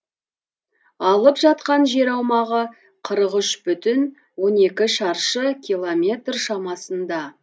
алып жатқан жер аумағы қырық үш бүтін он екі шаршы километр шамасында